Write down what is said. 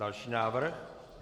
Další návrh.